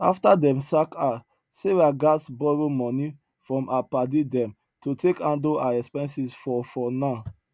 after dem sack her sarah gats borrow money from her padi dem to take handle her expenses for for now